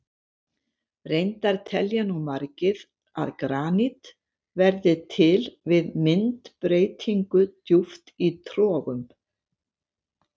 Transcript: Reyndar telja nú margir að granít verði til við myndbreytingu djúpt í trogum.